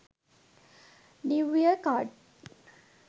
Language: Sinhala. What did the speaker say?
new year card